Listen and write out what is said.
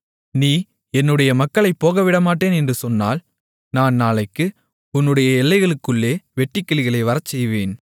நீ என்னுடைய மக்களைப் போகவிடமாட்டேன் என்று சொன்னால் நான் நாளைக்கு உன்னுடைய எல்லைகளுக்குள்ளே வெட்டுக்கிளிகளை வரச்செய்வேன்